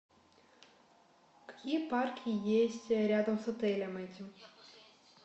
какие парки есть рядом с отелем этим